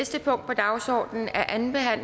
selv om